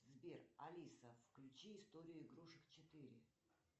сбер алиса включи историю игрушек четыре